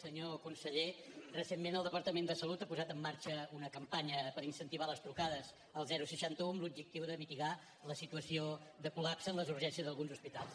senyor conseller recentment el departament de salut ha posat en marxa una campanya per incentivar les trucades al seixanta un amb l’objectiu de mitigar la situació de col·lapse en les urgències d’alguns hospitals